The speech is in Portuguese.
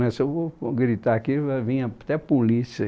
Se eu vou gritar aqui, vai vir até a polícia.